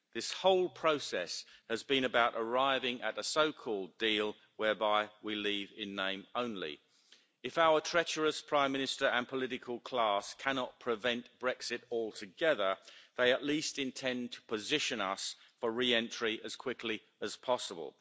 This whole process has been about arriving at a so called deal whereby we leave in name only. If our treacherous Prime Minister and political class cannot prevent Brexit altogether, they at least intend to position us for re-entry as quickly as possible.